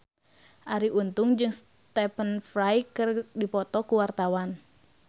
Arie Untung jeung Stephen Fry keur dipoto ku wartawan